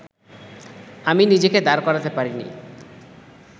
আমি নিজেকে দাঁড় করাতে পারিনি